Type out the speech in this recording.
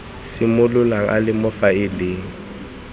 simololang a le mo faeleng